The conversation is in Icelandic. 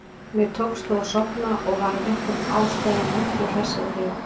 Mér tókst þó að sofna og var af einhverjum ástæðum miklu hressari þegar ég vaknaði.